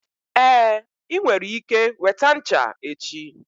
Ee, ị nwere ike weta ncha echi.